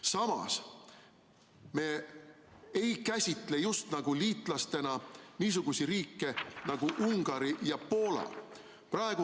Samas me ei käsitle liitlastena niisuguseid riike nagu Ungari ja Poola.